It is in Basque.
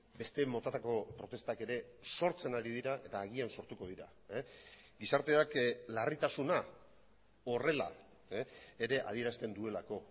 beste motatako protestak ere sortzen ari dira eta agian sortuko dira gizarteak larritasuna horrela ere adierazten duelako